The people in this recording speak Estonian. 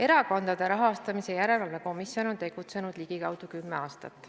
Erakondade Rahastamise Järelevalve Komisjon on tegutsenud ligikaudu kümme aastat.